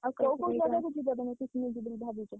picnic ଯିବ ବୋଲି ଭାବିଛ?